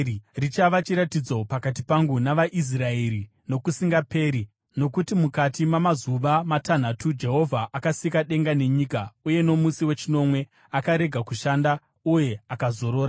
Richava chiratidzo pakati pangu navaIsraeri nokusingaperi, nokuti mukati mamazuva matanhatu Jehovha akasika denga nenyika, uye nomusi wechinomwe akarega kushanda uye akazorora.’ ”